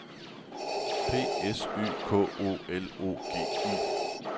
P S Y K O L O G I